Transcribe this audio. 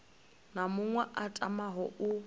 na muṅwe a tamaho u